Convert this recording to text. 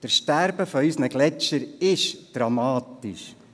Das Sterben unserer Gletscher ist dramatisch.